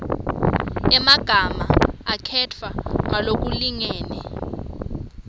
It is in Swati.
emagama akhetfwe ngalokulingene